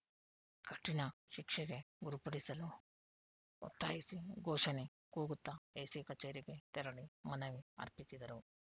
ಕಠಿಣ ಶಿಕ್ಷೆಗೆ ಗುರುಪಡಿಸಲು ಒತ್ತಾಯಿಸಿ ಘೋಷಣೆ ಕೂಗುತ್ತಾ ಎಸಿ ಕಚೇರಿಗೆ ತೆರಳಿ ಮನವಿ ಅರ್ಪಿಸಿದರು